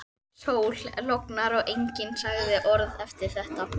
Sól, logn og enginn sagði orð eftir þetta.